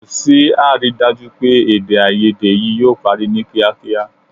Kò sí àrídájú pé èdèàìyedè yìí yóò parí ní kíákíá